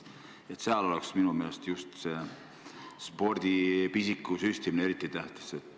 Lastele spordipisiku süstimine on minu meelest eriti tähtis.